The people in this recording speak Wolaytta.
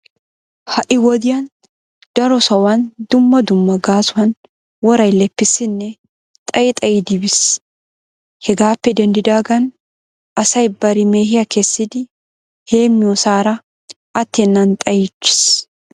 Ha"i wodiyan daro sohuwan dumma dumma gaasuwan woray leppiisinne xayi xayidi biis. Hegaappe denddidaagan asay bari mehiya kessidi hemmiyosaara attennan xayiichchiis.